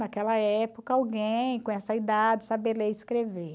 Naquela época alguém com essa idade saber ler e escrever.